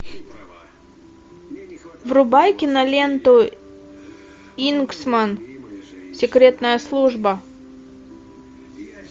врубай киноленту кингсман секретная служба